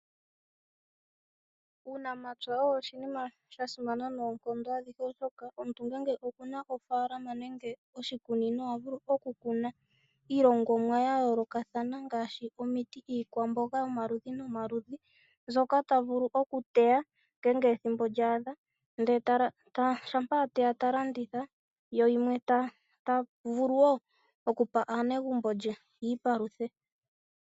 Uunamapya owo oshinima shasimana noonkondo adhihe oshoka omintu ngele okuna ofaalama nenge oshikunino ohavulu oku kuna iilongomwa ya yoolokathana ngaashi omiti, iikwamboga yomaludhi nomaludhi mbyoka tavulu ojuteya ngele ethimbo lya adha ndele shampa ateya ta landitha yo yimwe tavulu woo okupa aanelago ye yi iipaluthe.